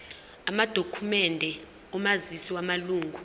amadokhumende omazisi wamalunga